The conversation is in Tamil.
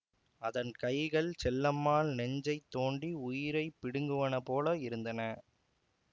அதன் கைகள் செல்லம்மாள் நெஞ்சைத் தோண்டி உயிரை பிடுங்குவனபோல இருந்தன